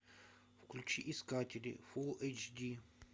включи искатели фул эйч ди